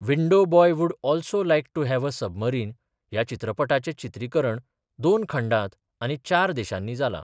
Window boy would also like to have a submarine ह्या चित्रपटाचे चित्रीकरण दोन खंडात आनी चार देशांनी जाला.